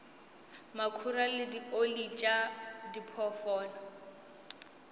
makhura le dioli tša diphoofolo